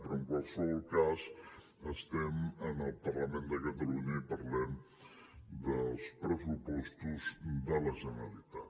però en qualsevol cas estem en el parlament de catalunya i parlem dels pressupostos de la generalitat